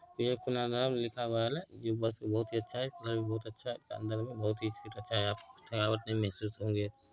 जो बस बहुत ही अच्छा है कलर भी बहुतअच्छा है सामने वाला सीट भी बहुत अच्छा है यहाँ पर यहाँ पर ये महसूस होंगे--